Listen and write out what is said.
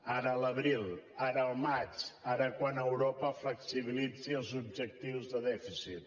ara a l’abril ara al maig ara quan europa flexibilitzi els objectius de dèficit